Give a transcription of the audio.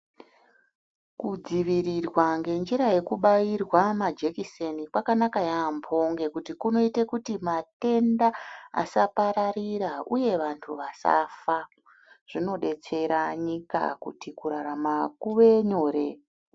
Kudzivirirwa ngenjira yekubairwa majekiseni kwakanaka yaambo ngekuti kunoite kuti matenda asapararira, uye vantu vasafa. Zvinodetsera nyika kuti kurarama kuve nyore.